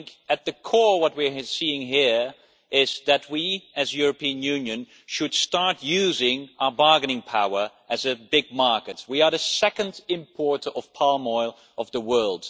I think at the core what we are seeing here is that we, as the European Union, should start using our bargaining power as a big market. We are the second importer of palm oil in the world.